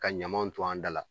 Ka ɲamanw to an da la.